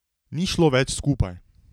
Ni šlo več skupaj.